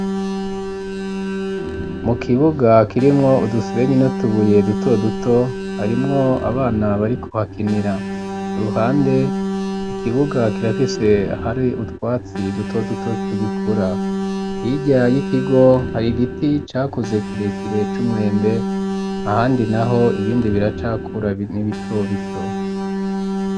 Mu kibuga kirimwo udusenyi nu tubuye duto duto ,harimwo abana bari kuhakinira ku ruhande, ikibuga kirafise hari utwatsi duto duto, tugikura yirya y'ikigo hari giti cakuze kirekire c'umwembe, ahandi naho ibindi biracakura n'ibito bito.